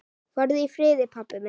Farðu í friði, pabbi minn.